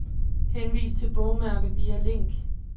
Henvis til bogmærke via link.